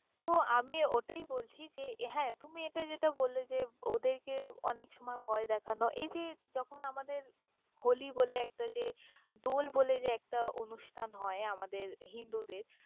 তহ আমি অতাই বলছি যে হ্যাঁ তুমি এটা যেটা বল্লে যে ওদের কে অনেক সময় ভয় দেখানো এই যে যখন আমাদের হলি বলে একটা যে দল বলে যে একটা অনুষ্ঠান হয় আমাদের হিন্দুদের।